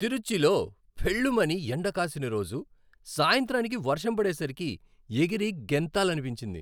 తిరుచ్చిలో ఫెళ్ళుమని ఎండ కాసిన రోజు సాయంత్రానికి వర్షం పడే సరికి ఎగిరి గెంతాలనిపించింది.